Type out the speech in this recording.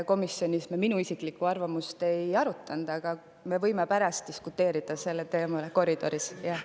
Komisjonis me minu isiklikku arvamust ei arutanud, aga me võime pärast koridoris sellel teemal diskuteerida.